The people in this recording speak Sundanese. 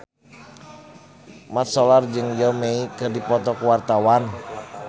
Mat Solar jeung Zhao Wei keur dipoto ku wartawan